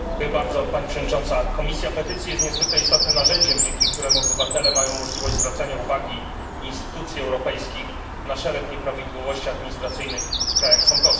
Pani Przewodnicząca! Komisja Petycji jest niezwykle istotnym narzędziem, dzięki któremu obywatele mają możliwość zwracania uwagi instytucji europejskich na szereg nieprawidłowości administracyjnych w państwach członkowskich.